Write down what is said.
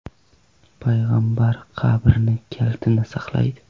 payg‘ambar qabri kalitini saqlaydi .